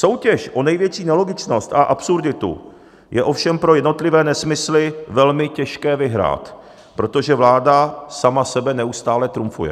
Soutěž o největší nelogičnost a absurditu je ovšem pro jednotlivé nesmysly velmi těžké vyhrát, protože vláda sama sebe neustále trumfuje.